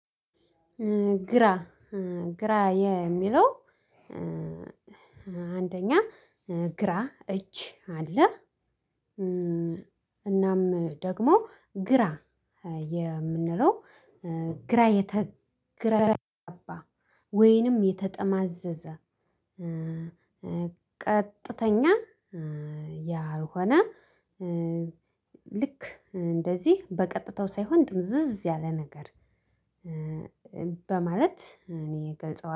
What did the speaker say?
ግራ ግራ የሚለው አንደኛ ግራ እጅ አለ። እናም ደግሞ ግራ የምንለው ግራ የተገባ ወይንም የተጠማዘዘ ቀጥተኛ ያልሆነ ልክ እንደዚህ በቀጥታው ሳይሆን ጥምዝዝ ያለ ነገር በማለት እኔ እገልጸዋለሁ።